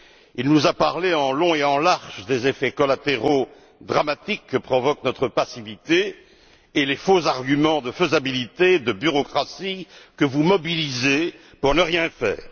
Il nous a parlé en long et en large des effets collatéraux dramatiques que provoquent notre passivité et les faux arguments de faisabilité ou de bureaucratie que vous mobilisez pour ne rien faire.